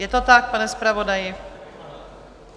Je to tak, pane zpravodaji?